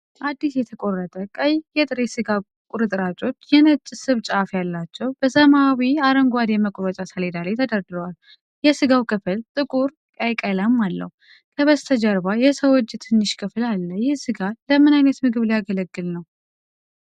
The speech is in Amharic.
አዲስ የተቆረጠ ቀይ የጥሬ ሥጋ ቁርጥራጮች፣ የነጭ ስብ ጫፍ ያላቸው፣ በሰማያዊ አረንጓዴ መቁረጫ ሰሌዳ ላይ ተደርድረዋል። የሥጋው ክፍል ጥቁር ቀይ ቀለም አለው። ከበስተጀርባ የሰው እጅ ትንሽ ክፍል አለ። ይህ ስጋ ለምን ዓይነት ምግብ ሊያገለግል ነው?